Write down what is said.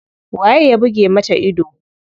Waye ya buge mata ido?